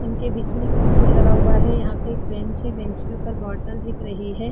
इनके बिच में एक स्टूल लगा हुआ है। यहाँ पे एक बेंच है बेंच के ऊपर एक बोतल दिख रही है।